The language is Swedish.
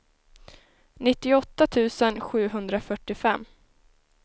nittioåtta tusen sjuhundrafyrtiofem